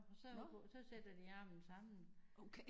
Nårh okay